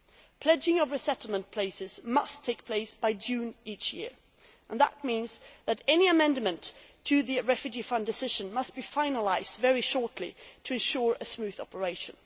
The pledging of resettlement places must take place by June each year, and that means that any amendment to the Refugee Fund decision must be finalised very soon to ensure a smooth operation.